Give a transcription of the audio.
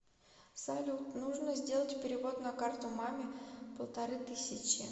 салют нужно сделать перевод на карту маме полторы тысячи